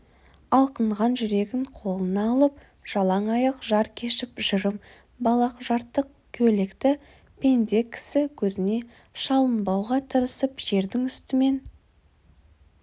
алқынған жүрегін қолына алып-жалаң аяқ жар кешіп жырым балақ жыртық көйлекті пенде кісі көзіне шалынбауға тырысып жердің үстімен